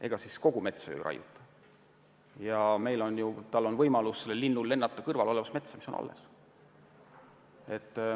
Ega siis kogu metsa maha ei raiuta, sel linnul on ju võimalus lennata kõrval olevasse metsa, mis on alles.